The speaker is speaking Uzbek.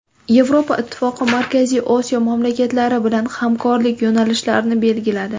Yevropa Ittifoqi Markaziy Osiyo mamlakatlari bilan hamkorlik yo‘nalishlarini belgiladi.